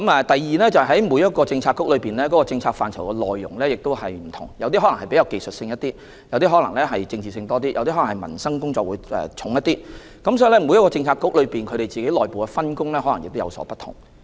第二，各政策局的政策範疇有所不同，有些比較技術性，有些比較政治性，也有些側重民生工作，所以每個政策局的內部分工亦可能有所不同。